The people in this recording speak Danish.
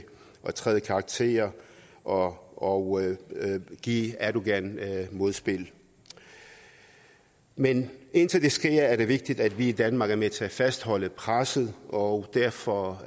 træde i karakter og og give erdogan modspil men indtil det sker er det vigtigt at vi i danmark er med til at fastholde presset og derfor